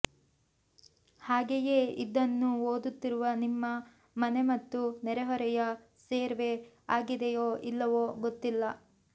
ಹಾಗೆಯೇ ಇದನ್ನು ಓದುತ್ತಿರುವ ನಿಮ್ಮ ಮನೆ ಮತ್ತು ನೆರೆಹೊರೆಯ ಸರ್ವೇ ಆಗಿದೆಯೋ ಇಲ್ಲವೋ ಗೊತ್ತಿಲ್ಲ